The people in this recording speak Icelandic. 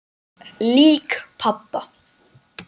Lík pabba?